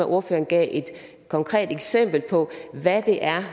ordføreren gav et konkret eksempel på hvad det er